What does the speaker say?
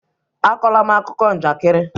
Akọla m akụkọ njakịrị!